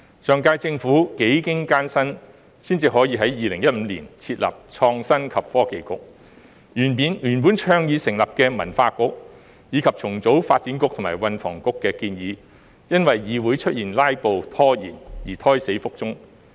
上屆政府幾經艱辛，才能夠在2015年設立創新及科技局，原本倡議成立的文化局，以及重組發展局和運輸及房屋局的建議，因為議會"拉布"拖延而胎死腹中。